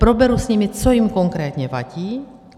Proberu s nimi, co jim konkrétně vadí.